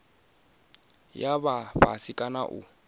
ya vha fhasi kana u